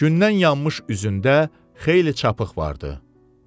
Gündən yanmış üzündə xeyli çapıq vardı.